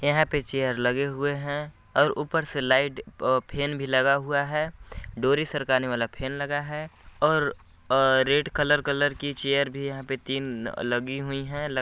यहाँ पे चेयर लगे हुए है और उपर से लाईट अ फैन भी लगा हुवा है डोरी सरकाने वाला फैन लगा है और अ रेड कलर कलर की चेयर भी यहाँ पे तिन अ लगी हुई हैं।